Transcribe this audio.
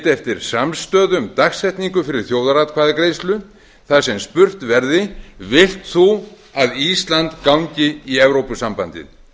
eftir samstöðu um dagsetningu fyrir þjóðaratkvæðagreiðslu þar sem spurt verði vilt þú að ísland gangi í evrópusambandið